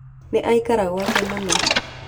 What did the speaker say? Nĩ aikara gwake mũno.